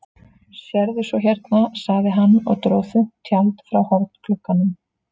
Sérðu svo hérna, sagði hann og dró þunnt tjald frá hornglugganum.